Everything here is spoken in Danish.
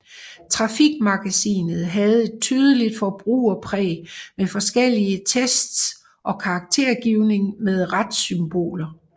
Trafikmagasinet havde et tydeligt forbrugerpræg med forskellige tests og karaktergivning med ratsymboler